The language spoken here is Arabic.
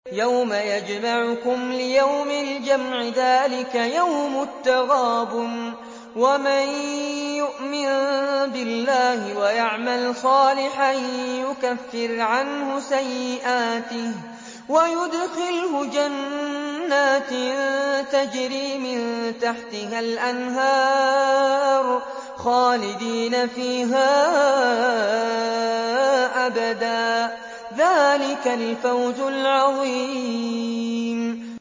يَوْمَ يَجْمَعُكُمْ لِيَوْمِ الْجَمْعِ ۖ ذَٰلِكَ يَوْمُ التَّغَابُنِ ۗ وَمَن يُؤْمِن بِاللَّهِ وَيَعْمَلْ صَالِحًا يُكَفِّرْ عَنْهُ سَيِّئَاتِهِ وَيُدْخِلْهُ جَنَّاتٍ تَجْرِي مِن تَحْتِهَا الْأَنْهَارُ خَالِدِينَ فِيهَا أَبَدًا ۚ ذَٰلِكَ الْفَوْزُ الْعَظِيمُ